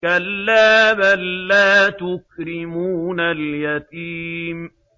كَلَّا ۖ بَل لَّا تُكْرِمُونَ الْيَتِيمَ